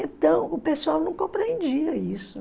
Então, o pessoal não compreendia isso.